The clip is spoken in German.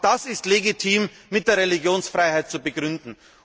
Auch das ist legitim mit der Religionsfreiheit zu begründen.